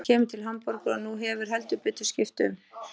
Hann kemur til Hamborgar og nú hefur heldur betur skipt um.